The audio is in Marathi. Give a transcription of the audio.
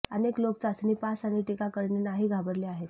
अनेक लोक चाचणी पास आणि टीका करणे नाही घाबरले आहेत